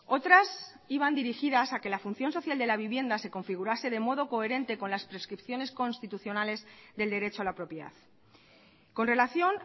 otras iban dirigidas a que la función social de la vivienda se configurase de modo coherente con las prescripciones constitucionales del derecho a la propiedad con relación